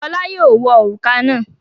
Fọlá yóò wọ òrùka náà.